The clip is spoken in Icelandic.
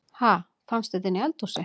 Ha! Fannstu þetta inni í eldhúsi?